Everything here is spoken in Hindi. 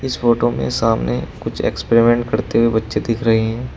फोटो में सामने कुछ एक्सपेरिमेंट करते हुए बच्चे दिख रही हैं।